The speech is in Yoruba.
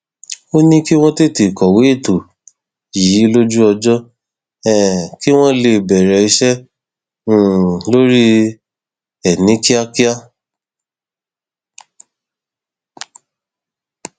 ó ní kí wọn tètè kọwé ètò yìí lójú ọjọ um kí wọn lè bẹrẹ iṣẹ um lórí ẹ ní kíákíá